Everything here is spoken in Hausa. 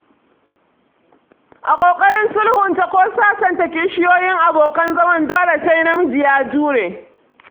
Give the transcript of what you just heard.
A ƙoƙarin sulhunta ko sasanta kishiyoyi abokan zaman dole sai namiji ya jure.